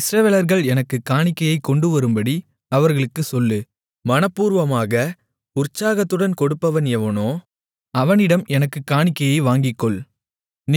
இஸ்ரவேலர்கள் எனக்குக் காணிக்கையைக் கொண்டுவரும்படி அவர்களுக்குச் சொல்லு மனப்பூர்வமாக உற்சாகத்துடன் கொடுப்பவன் எவனோ அவனிடம் எனக்குக் காணிக்கையை வாங்கிக்கொள்